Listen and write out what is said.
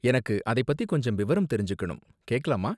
எனக்கு அதை பத்தி கொஞ்சம் விவரம் தெரிஞ்சுக்கணும், கேக்கலாமா?